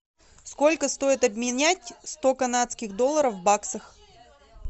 сколько стоит обменять сто канадских долларов в баксах